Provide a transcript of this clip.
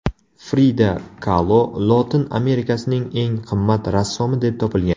Frida Kalo Lotin Amerikasining eng qimmat rassomi deb topilgan.